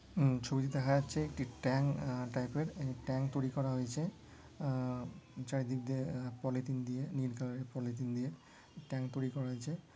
ছবিতে দেখা যাচ্ছে একটি ট্যাঙ্ক আ টাইপের একটা ট্যাঙ্ক তৈরি করা হয়েছে আ চারিদিক দিয়ে পলিথিন দিয়ে নীল কালার এর পলিথিন দিয়ে ট্যাঙ্ক তৈরি করা হয়েছে।